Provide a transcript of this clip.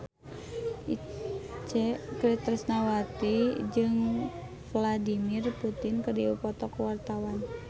Itje Tresnawati jeung Vladimir Putin keur dipoto ku wartawan